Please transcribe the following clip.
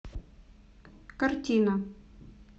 картина